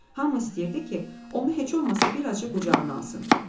Hamı istəyirdi ki, onu heç olmasa bir azca qucağına alsın.